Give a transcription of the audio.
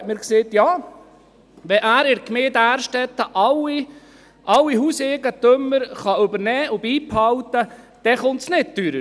Er sagte mir, wenn er in der Gemeinde Därstetten alle Hauseigentümer übernehmen und beibehalten könne, dann komme es nicht teurer.